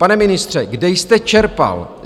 Pane ministře, kde jste čerpal?